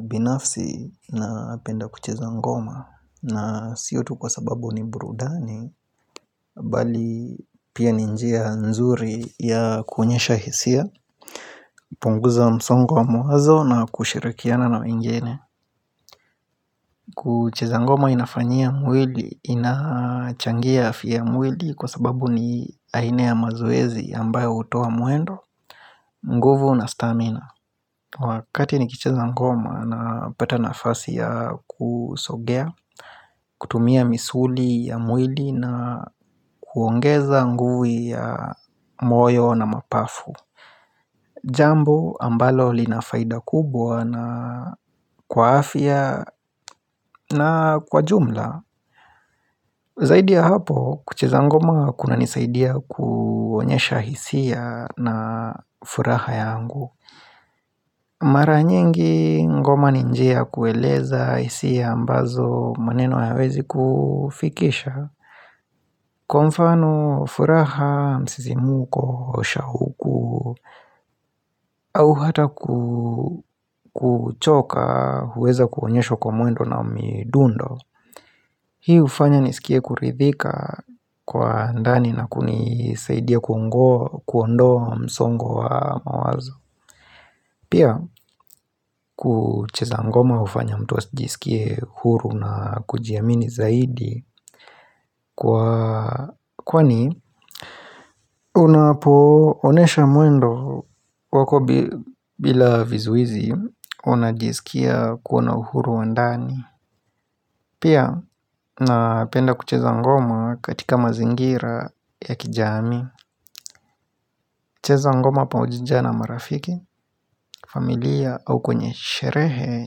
Binafsi napenda kucheza ngoma na sio tu kwa sababu ni burudani bali pia ni njia nzuri ya kuonyesha hisia, kupunguza msongo wa mawazo na kushirakiana na waingine. Kucheza ngoma inafanyia mwili, inachangia afya ya mwili kwa sababu ni aina ya mazoezi ambayo hutoa mwendo nguvu na stamina. Wakati nikicheza ngoma napata nafasi ya kusogea, kutumia misuli ya mwili na kuongeza nguvu ya moyo na mapafu. Jambo ambalo lina faida kubwa na kwa afya na kwa jumla Zaidi ya hapo kucheza ngoma kuna nisaidia kuonyesha hisia na furaha yangu Mara nyingi ngoma ni njia ya kueleza hisia ambazo maneno hayawezi kufikisha. Kwa mfano furaha, msisimko, shauku, au hata kuchoka huweza kuonyeshwa kwa mwendo na midundo. Hii hufanya nisikie kuridhika kwa ndani na kunisaidia kuondoa msongo wa mawazo. Pia kucheza ngoma hufanya mtu asijisikie huru na kujiamini zaidi Kwani unapoonyesha mwendo wako bila vizuizi unajiskia kuwa na uhuru wa ndani. Pia napenda kucheza ngoma katika mazingira ya kijamii cheza ngoma pamoja na marafiki, familia au kwenye sherehe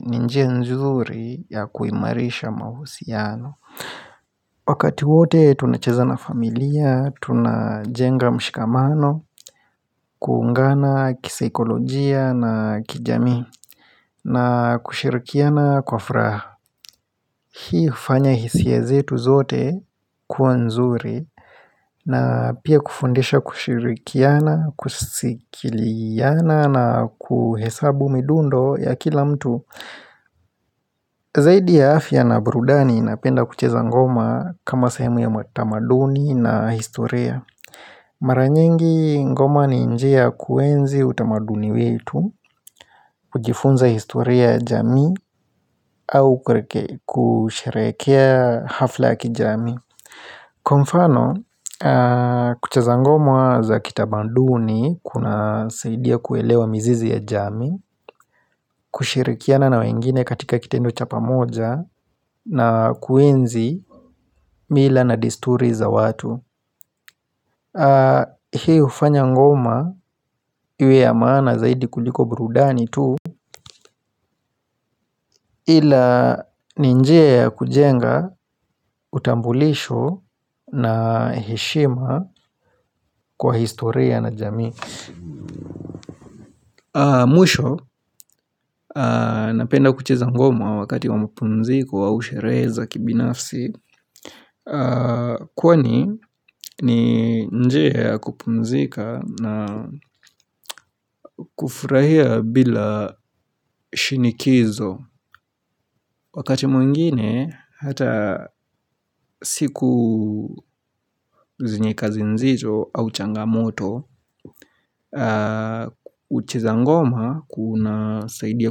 ni njia nzuri ya kuimarisha mahusiano Wakati wote tunacheza na familia, tunajenga mshikamano, kuungana kisaikolojia na kijamii na kushirikiana kwa furaha. Hii hufanya hisia zetu zote kuwa nzuri na pia kufundisha kushirikiana, kusikiliana na kuhesabu midundo ya kila mtu. Zaidi ya afya na burudani napenda kucheza ngoma kama sahemu ya matamaduni na historia. Mara nyingi ngoma ni njia ya kuenzi utamaduni wetu, kujifunza historia ya jamii au kusherehekea hafla ya kijamii. Kwa mfano, kucheza ngoma za kitamaduni kunasaidia kuelewa mizizi ya jamii kushirikiana na wengine katika kitendo cha pamoja na kuenzi mila na desturi za watu Hii hufanya ngoma iwe ya maana zaidi kuliko brudani tu Ila ni njia ya kujenga utambulisho na heshima kwa historia na jamii. Mwisho napenda kucheza ngoma wakati wa mapumziku au sherehe za kibinafsi kwani ni njia ya kupumzika na kufurahia bila shinikizo. Wakati mwingine, hata siku zenye kazi nzito au changamoto, ucheza ngoma kunasaidia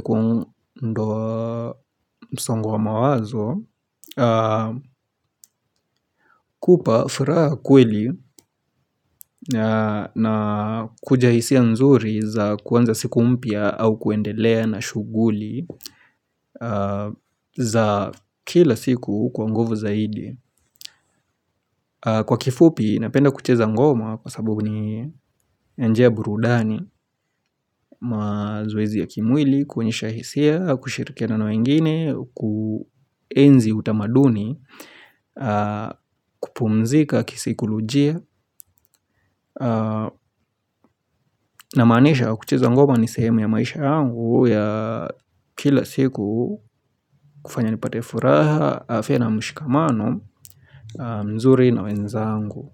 kuondoa msongo wa mawazo, kupa furaha kweli na kuja hisia nzuri za kuanza siku mpya au kuendelea na shughuli za kila siku kwa nguvu zaidi. Kwa kifupi, napenda kucheza ngoma kwa sababu ni njia ya burudani, mazoezi ya kimwili, kuonyesha hisia, kushirikiana na wengine, kuenzi utamaduni, kupumzika, kisaikolojia Namaanisha kucheza ngoma ni sehemu ya maisha yangu ya kila siku kufanya nipate furaha, afya na mshikamano mzuri na wenzangu.